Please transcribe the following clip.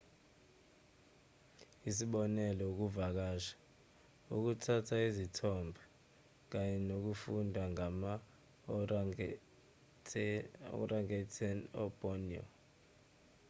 isibonelo ukuvakasha ukuthatha izithombe kanye nokufunda ngama-orangatan eborneo